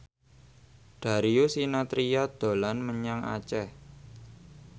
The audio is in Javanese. Darius Sinathrya dolan menyang Aceh